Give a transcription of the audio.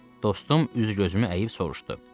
Dostum üz-gözümü əyib soruşdu.